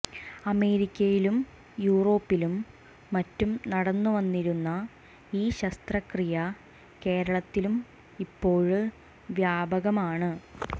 അമേരിക്കയിലും യൂറോപ്പിലും മറ്റും നടന്നുവന്നിരുന്ന ഈ ശസ്ത്രക്രിയ കേരളത്തിലും ഇപ്പോള് വ്യാപകമാണ്